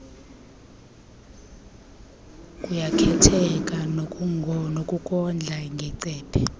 kuyakhetheka kunokondla ngecephe